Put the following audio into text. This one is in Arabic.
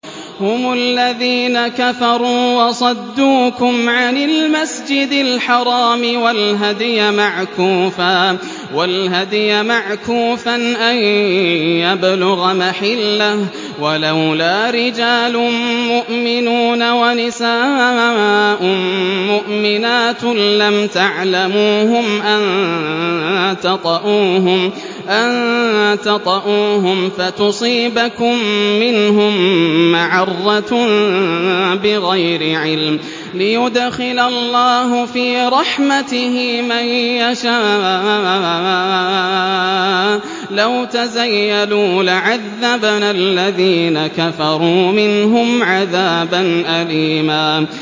هُمُ الَّذِينَ كَفَرُوا وَصَدُّوكُمْ عَنِ الْمَسْجِدِ الْحَرَامِ وَالْهَدْيَ مَعْكُوفًا أَن يَبْلُغَ مَحِلَّهُ ۚ وَلَوْلَا رِجَالٌ مُّؤْمِنُونَ وَنِسَاءٌ مُّؤْمِنَاتٌ لَّمْ تَعْلَمُوهُمْ أَن تَطَئُوهُمْ فَتُصِيبَكُم مِّنْهُم مَّعَرَّةٌ بِغَيْرِ عِلْمٍ ۖ لِّيُدْخِلَ اللَّهُ فِي رَحْمَتِهِ مَن يَشَاءُ ۚ لَوْ تَزَيَّلُوا لَعَذَّبْنَا الَّذِينَ كَفَرُوا مِنْهُمْ عَذَابًا أَلِيمًا